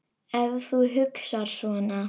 Ef þú hugsar svona.